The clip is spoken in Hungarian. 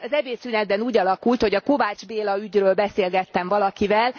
Az ebédszünetben úgy alakult, hogy a Kovács Béla ügyről beszélgettem valakivel.